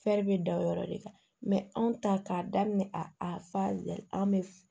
bɛ da o yɔrɔ de kan anw ta k'a daminɛ a fa an bɛ f